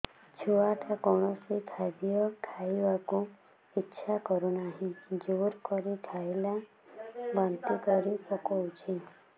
ଛୁଆ ଟା କୌଣସି ଖଦୀୟ ଖାଇବାକୁ ଈଛା କରୁନାହିଁ ଜୋର କରି ଖାଇଲା ବାନ୍ତି କରି ପକଉଛି